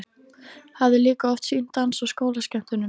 Hafði líka oft sýnt dans á skólaskemmtunum.